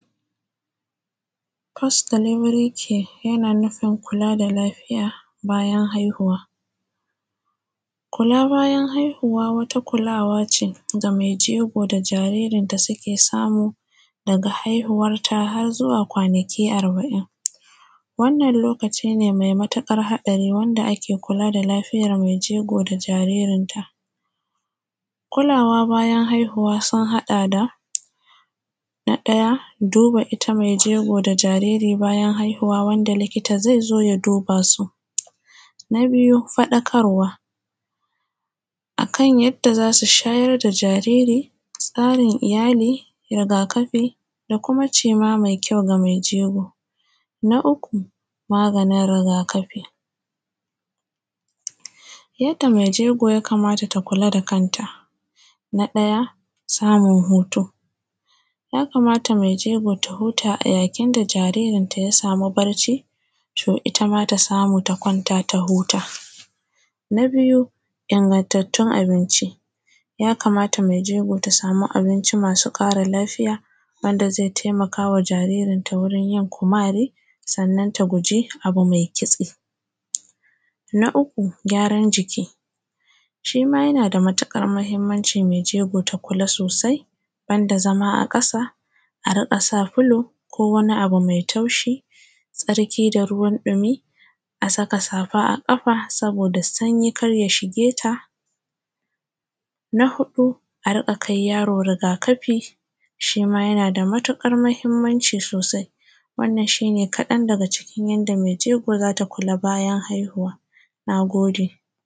. ”Post delivery care” yana nufin kula da lafiyar bayan haihuwa kula bayan haihuwa wata kulawa ce da mai jego da jaririnta suke samu daga haihuwarta har zuwa kwana arba`in wannan lokaci ne mai matuƙar haɗari wanda ake kula da lafiyar mai jego da jaririnta Kulawa bayan haihuwa sun haɗa da, na ɗaya, duba ita mai jego da jariri bayan haihuwa wanda likita zai zo ya duba su na biyu, faɗakarwa akan yanda za su shayar da jariri, tsarin iyali, rigakafi da kuma ciima mai kyau ga mai jego. Na uku, maganin rigakafi, yadda mai jego ya kamata ta kula da kanta Na ɗaya, samun hutu ya kamata mai jego ta huta a yayin da jaririnta ya sami barci to ita ma ta samu ta kwanta ta huta. ya kamata mai jego ta huta a yayin da jaririnta ya sami barci to ita ma ta samu ta kwanta ta huta. ya kamata mai jego ta sami abinci masu ƙara lafiya wanda zaya taimakawa jaririnta wurin yin kumari sannan ta guji abu mai kitse Na uku, gyaran jiki shi ma yana da matuƙar mahimmanci mai jego ta kula sosai banda zama a ƙasa, a riƙa sa filo ko wani abu mai taushi, tsarki da ruwan ɗumi, a saka safa a ƙafa sabi da sanyi kar ya shige ta Na huɗu, a riƙa kai yaro rigakafi, shi ma yana da matuƙar mahimmanci sosai, wannan shi ne kaɗan daga cikin yanda mai jego za ta kula bayan haihuwa. Na gode.